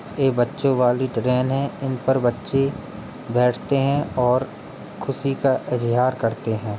ये बच्चों वाली ट्रेन है इन पर बच्चे बैठते हैं और खुशी का इज़हार करते हैं।